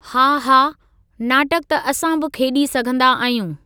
हा, हा, नाटक त असां बि खेॾी सघंदा आहियूं ।